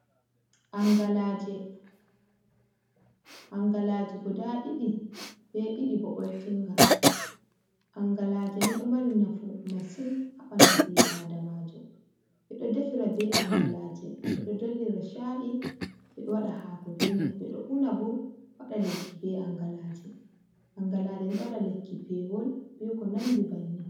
Angalaje: Angalaje guda ɗiɗi be ɗiɗi bo ɓoltinga. Angalaje ni ɗo mari nafu masin ha ɓandu ɓi adamajo. Ɓeɗo defira be angalaje, ɓeɗo dollira cha’i, ɓeɗo waɗa haako be mai, ɓeɗo una bo waɗa lekki be angalaje. Angalaje ni ɗo waɗa lekki pewol be ko nandi banin.